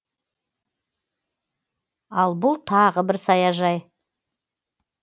ал бұл тағы бір саяжай